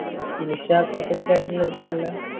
finish ആക്കാത്തവർക്ക് ആരിക്കും കൊടുത്തിട്ടില്ല